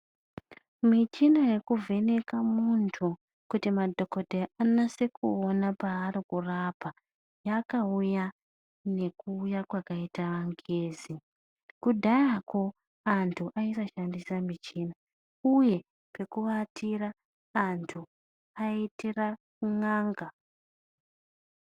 Michina yekuvheneka muntu, kuti madhokodheya anase kuona paari kurapa, yakauya ngekuuya kwakaite angezi. Kudhayako antu aisashandisa michini uye pekuatira, antu aitira kun'anga